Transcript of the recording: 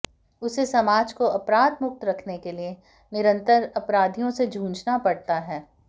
उसे समाज को अपराध मुक्त रखने के लिए निरंतर अपराधियों से जूझना पड़ता है